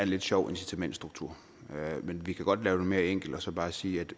lidt sjov incitamentstruktur men vi kan godt lave det mere enkelt og så bare sige at